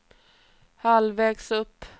halvvägs upp